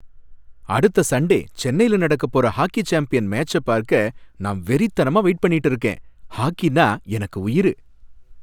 அடுத்த சண்டே சென்னைல நடக்கப் போற ஹாக்கி சாம்பியன் மேட்ச்ச பார்க்க நான் வெறித்தனமா வெயிட் பண்ணிட்டு இருக்கேன். ஹாக்கினா எனக்கு உயிரு.